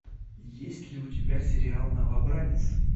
есть ли у тебя сериал новобранец